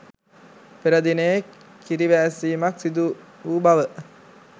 පෙර දිනයේ කිරිවෑස්සීමක් සිදුවූ බව